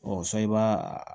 sa i b'a